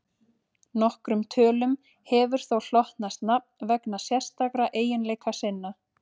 Nokkrum tölum hefur þó hlotnast nafn vegna sérstakra eiginleika sinna.